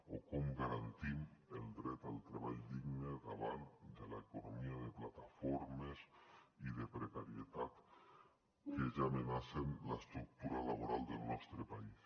o com garantim el dret al treball digne davant de l’economia de plataformes i de precarietat que ja amenacen l’estructura laboral del nostre país